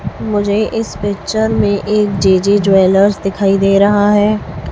मुझे इस पिक्चर में एक जे_जे ज्वैलर्स दिखाई दे रहा है।